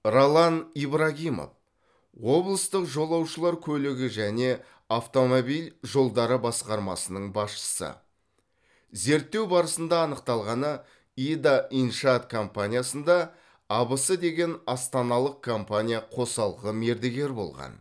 ролан ибрагимов облыстық жолаушылар көлігі және автомобиль жолдары басқармасының басшысы зерттеу барысында анықталғаны ида иншаат компаниясында абс деген астаналық компания қосалқы мердігер болған